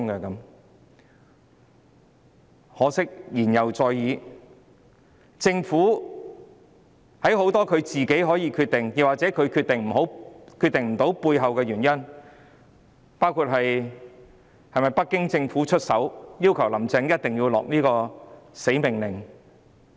很可惜，言猶在耳，政府其實有很多事情可以自行決定，但它卻決定不到，背後原因是否北京政府曾經出手，要求"林鄭"一定要下這道命令？